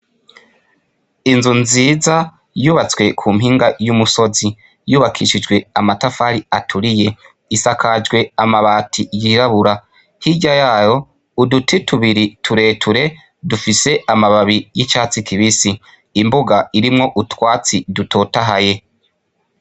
Inzu nziza yubatswe kumpinga y'umusozi yubakishijwe amatafari aturiye, isakajwe amabati yirabura. Hirya yayo uduti tubiri tureture dufise amababi y'icatsi kibisi. Imbuga irimwo utwatsi dutotahaye.